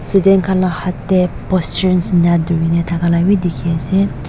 students khan la ka haat tey posterns eneka durina thaka la ka b dikhi ase.